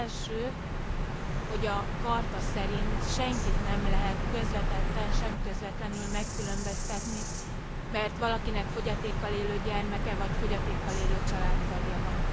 Az első, hogy a Charta szerint senkit nem lehet közvetetten, sem közvetlenül megkülönböztetni, mert valakinek fogyatékkal élő gyermeke vagy fogyatékkal élő családtagja van.